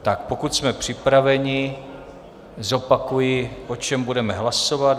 Tak pokud jsme připraveni, zopakuji, o čem budeme hlasovat.